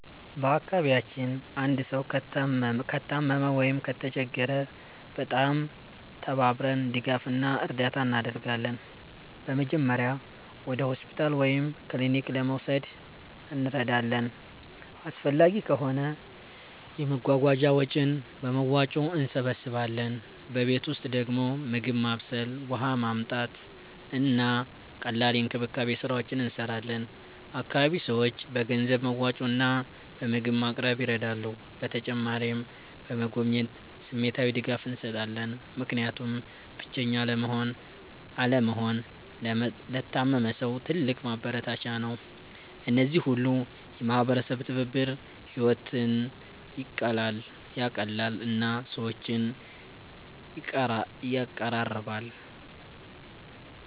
በአካባቢያችን አንድ ሰው ከታመመ ወይም ከተቸገረ በጣም ተባብረን ድጋፍ እና እርዳታ እናደርጋለን። በመጀመሪያ ወደ ሆስፒታል ወይም ክሊኒክ ለመውሰድ እንረዳለን፣ አስፈላጊ ከሆነ የመጓጓዣ ወጪን በመዋጮ እንሰብስባለን። በቤት ውስጥ ደግሞ ምግብ ማብሰል፣ ውሃ ማመጣት፣ እና ቀላል የእንክብካቤ ስራዎች እንሰራለን። አካባቢ ሰዎች በገንዘብ መዋጮ እና በምግብ ማቅረብ ይረዳሉ። በተጨማሪም በመጎብኘት ስሜታዊ ድጋፍ እንሰጣለን፣ ምክንያቱም ብቸኛ አለመሆን ለታመመ ሰው ትልቅ ማበረታቻ ነው። እነዚህ ሁሉ የማህበረሰብ ትብብር ሕይወትን ይቀላል እና ሰዎችን ይቀራራል።